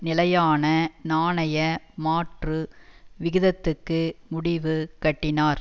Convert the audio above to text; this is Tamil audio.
நிலையான நாணய மாற்று விகிதத்துக்கு முடிவு கட்டினார்